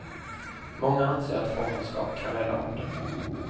Många anser att fångenskap kan rädda arten.